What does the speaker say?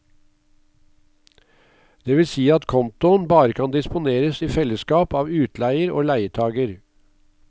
Det vil si at kontoen bare kan disponeres i fellesskap av utleier og leietager.